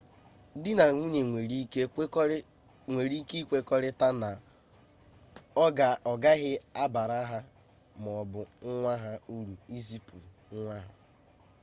di na nwunye nwere ike ikwekọrịta na ọ gaghị abara ha maọbụ nwa ha uru ịzụpụta nwa